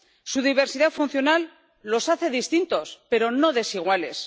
Su diversidad funcional los hace distintos, pero no desiguales